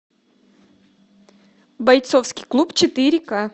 бойцовский клуб четыре ка